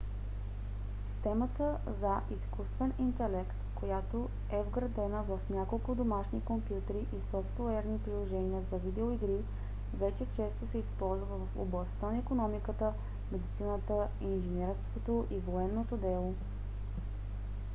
системата за изкуствен интелект която е вградена в няколко домашни компютърни и софтуерни приложения за видеоигри вече често се използва в областта на икономиката медицината инженерството и военното дело